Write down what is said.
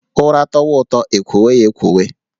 Ụra tọwa ụtọ, e kwowe ya e kwowe